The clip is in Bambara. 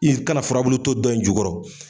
I kana furabulu to dɔn in jukɔrɔ.